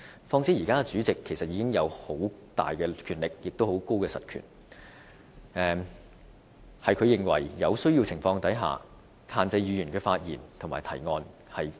況且，現時主席已有很大的實權，他有權在他認為有需要的情況下限制議員的發言和提案。